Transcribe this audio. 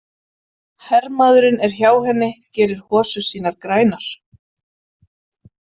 Hermaðurinn er hjá henni, gerir hosur sínar grænar.